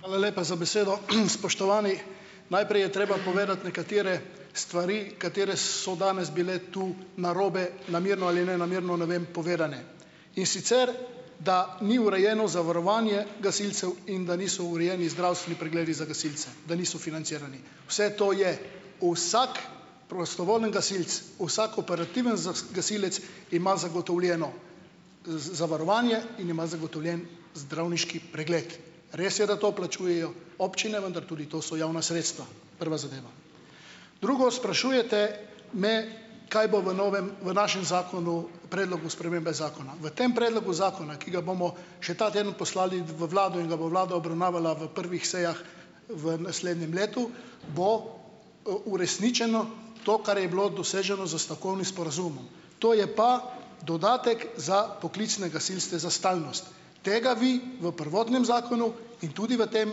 Hvala lepa za besedo. Spoštovani! Najprej je treba povedati nekatere stvari, katere so danes bile tu narobe namerno ali nenamerno, ne vem, povedane. In sicer, da ni urejeno zavarovanje gasilcev in da niso urejeni zdravstveni pregledi za gasilce, da niso financirani. Vse to je. Vsako prostovoljni gasilec, vsak operativen gasilec ima zagotovljeno zavarovanje in ima zagotovljen zdravniški pregled. Res je, da to plačujejo občine, vendar tudi to so javna sredstva. Prva zadeva. Drugo, sprašujete me, kaj bo v novem v našem zakonu, predlogu spremembe zakona. V tem predlogu zakona, ki ga bomo še ta teden poslali v vlado in da bo vlada obravnavala v prvih sejah, v naslednjem letu bo uresničeno to, kar je bilo doseženo s stavkovnim sporazumom. To je pa dodatek za poklicne gasilce za stalnost. Tega vi v prvotnem zakonu in tudi v tem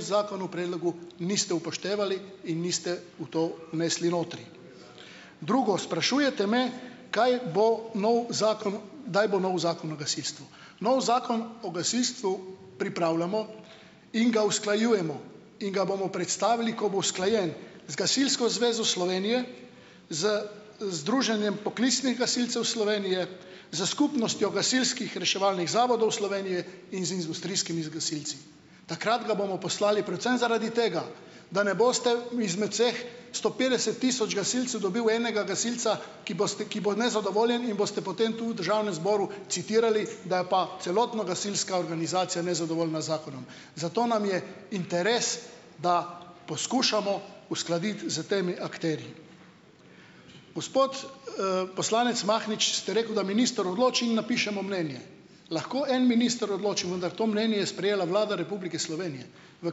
zakonu predlogu niste upoštevali in niste v to vnesli notri. Drugo, sprašujete me, kaj bo novi zakon kdaj bo novi zakon o gasilstvu. Novi zakon o gasilstvu pripravljamo in ga usklajujemo in ga bomo predstavili, ko bo usklajen z Gasilsko zvezo Slovenije, z Združenjem poklicnih gasilcev Slovenije, z Skupnostjo gasilskih reševalnih zavodov Slovenije in z industrijskimi gasilci. Takrat ga bomo poslali predvsem zaradi tega, da ne boste izmed vseh sto petdeset tisoč gasilcev dobili enega gasilca, ki bo s ki bo nezadovoljen in boste potem tu v državnem zboru citirali, da je pa celotna gasilska organizacija nezadovoljna zakonom. Zato nam je interes, da poskušamo uskladiti s temi akterji. Gospod, poslanec Mahnič ste rekel, da minister odloči in napišemo mnenje. Lahko en minister odloči, vendar to mnenje je sprejela Vlada Republike Slovenije, v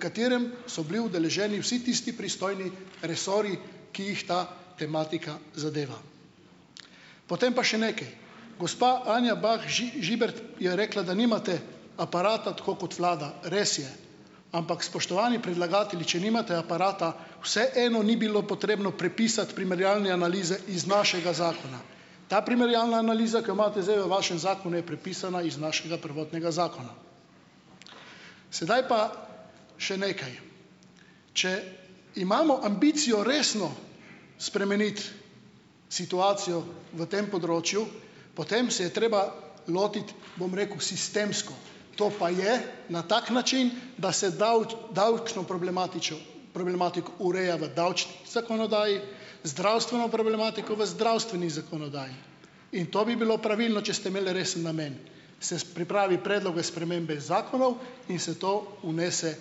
katerem so bili udeleženi vsi tisti pristojni resorji, ki jih ta tematika zadeva. Potem pa še nekaj, gospa Anja Bah Žibert je rekla, da nimate aparata, tako kot vlada, res je, ampak spoštovani predlagatelji, če nimate aparata, vseeno ni bilo potrebno prepisati primerjalne analize iz našega zakona. Ta primerjalna analiza, ki jo imate zdaj v vašem zakonu, je prepisana iz našega prvotnega zakona. Sedaj pa še nekaj. Če imamo ambicijo resno spremeniti situacijo v tem področju, potem se je treba lotiti, bom rekel, sistemsko. To pa je, na tak način, da se davčno problematičo problematiko ureja v zakonodaji, zdravstveno problematiko v zdravstveni zakonodaji, in to bi bilo pravilno, če ste imeli res namen. Se pripravi predloge spremembe zakonov in se to vnese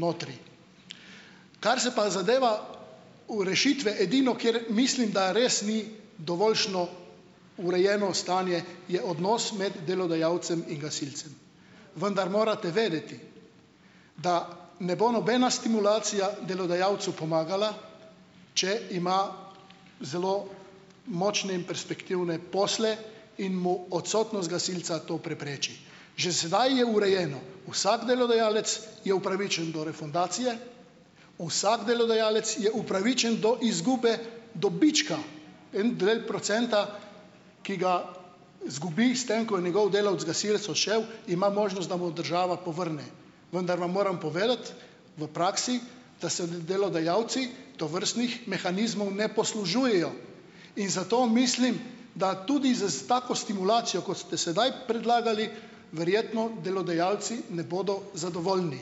notri. Kar se pa zadeva rešitve. Edino, kjer mislim, da res ni dovoljšno urejeno stanje, je odnos med delodajalcem in gasilcem, vendar morate vedeti, da ne bo nobena stimulacija delodajalcu pomagala, če ima zelo močne in perspektivne posle in mu odsotnost gasilca to prepreči. Že sedaj je urejeno, vsak delodajalec je upravičen do refundacije. Vsak delodajalec je upravičen do izgube dobička en del procenta, ki ga izgubi s tem, ko je njegov delavec, gasilec odšel, ima možnost, da mu država povrne. Vendar vam moram povedati, v praksi, da se delodajalci tovrstnih mehanizmov ne poslužujejo, in zato mislim, da tudi zes tako stimulacijo, kot ste sedaj predlagali, verjetno delodajalci ne bodo zadovoljni.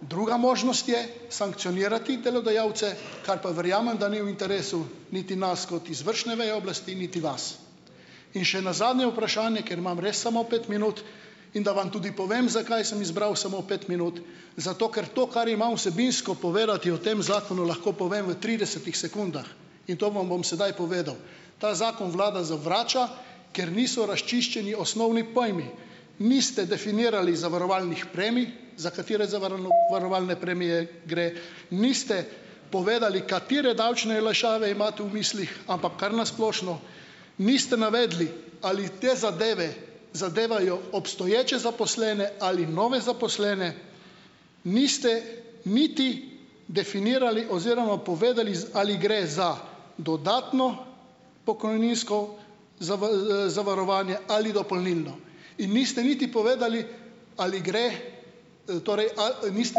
Druga možnost je sankcionirati delodajalce, kar pa verjamem, da ni v interesu niti nas kot izvršne veje oblasti niti vas. In še na zadnje vprašanje, ker imam res samo pet minut, in da vam tudi povem, zakaj sem izbral samo pet minut. Zato ker to, kar imam vsebinsko povedati o tem zakonu, lahko povem v tridesetih sekundah in to vam bom sedaj povedal. Ta zakon vlada zavrača, ker niso razčiščeni osnovni pojmi. Niste definirali zavarovalnih premij, za katere varovalne premije gre, niste povedali, katere davčne olajšave imate v mislih, ampak kar na splošno, niste navedli, ali te zadeve zadevajo obstoječe zaposlene ali nove zaposlene niste niti definirali oziroma povedali, ali gre za dodatno pokojninsko zavarovanje ali dopolnilno in niste niti povedali, ali gre, torej, a niste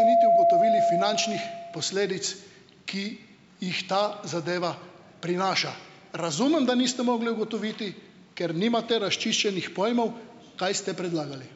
niti ugotovili finančnih posledic, ki jih ta zadeva prinaša. Razumem, da niste mogli ugotoviti, ker nimate razčiščenih pojmov, kaj ste predlagali.